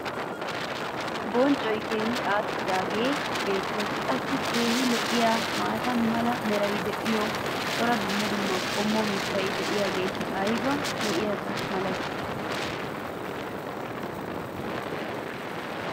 Bonccoy keehi aakidaagee beettees. Qassi keehi lo'iyaa maata mala meray diyo cora dumma dumma qommo mitati diyaageti ayba lo'iyaaba malatii?